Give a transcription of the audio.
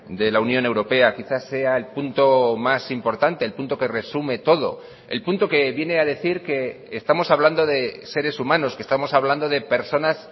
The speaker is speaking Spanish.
de la unión europea quizás sea el punto más importante el punto que resume todo el punto que viene a decir que estamos hablando de seres humanos que estamos hablando de personas